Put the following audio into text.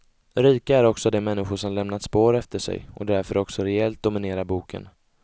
Rika är också de människor som lämnat spår efter sig och därför också rejält dominerar boken.